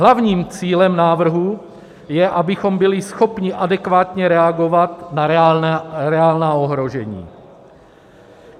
Hlavním cílem návrhu je, abychom byli schopni adekvátně reagovat na reálná ohrožení.